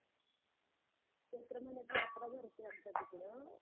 चैत्र महिन्यात यात्रा भरते आमच्या तिकडं.